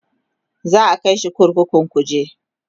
za'a kaishi kurkukun kuje